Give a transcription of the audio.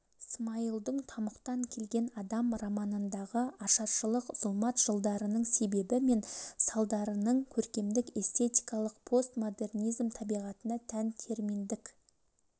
смайылдың тамұқтан келген адам романындағы ашаршылық зұлмат жылдарының себебі мен салдарының көркемдік-эстетикалық постмодернизм табиғатына тән терминдік